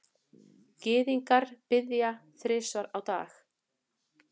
Gyðingar biðja þrisvar á dag.